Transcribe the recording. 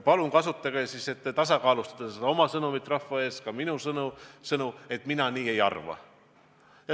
Palun kasutage siis oma sõnumi rahva ees tasakaalustamiseks ka minu sõnu ja öelge, et mina nii ei arva.